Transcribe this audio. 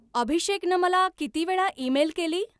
अभिषेकनं मला किती वेळा ईमेल केली?